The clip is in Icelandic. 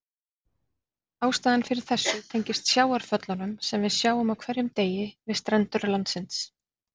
Ástæðan fyrir þessu tengist sjávarföllunum sem við sjáum á hverjum degi við strendur landsins.